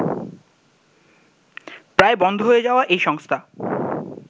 প্রায় বন্ধ হয়ে যাওয়া এই সংস্থা